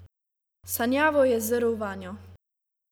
Sanjavo je zrl vanjo.